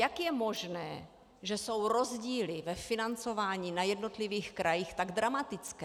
Jak je možné, že jsou rozdíly ve financování na jednotlivých krajích tak dramatické?